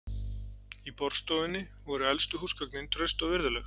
Í borðstofunni voru elstu húsgögnin, traust og virðuleg.